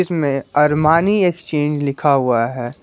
में Armani exchange लिखा हुआ है।